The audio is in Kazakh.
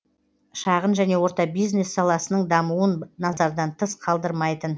шағын және орта бюизнес саласының дамуын назардан тыс қалдырмайтын